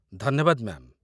ଧନ୍ୟବାଦ, ମ୍ୟା'ମ୍ ।